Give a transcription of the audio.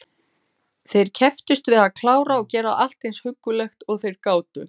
Þeir kepptust við að klára og gera allt eins huggulegt og þeir gátu.